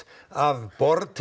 af